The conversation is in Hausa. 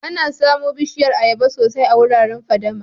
Ana samu Bishiyar ayaba sosai a wuraren fadama.